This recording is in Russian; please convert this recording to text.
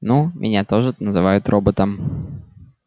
ну меня тоже называют роботом